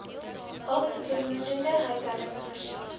hulpbehoewende huishoudings voorsiening